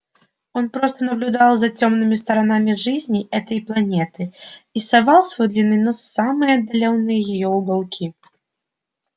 он просто наблюдал за тёмными сторонами жизни этой планеты и совал свой длинный нос в самые отдалённые её уголки